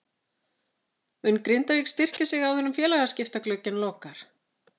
Mun Grindavík styrkja sig áður en félagaskiptaglugginn lokar?